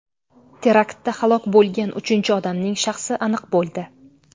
Teraktda halok bo‘lgan uchinchi odamning shaxsi aniq bo‘ldi.